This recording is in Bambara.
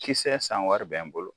Kisɛ sanwari bɛ n bolo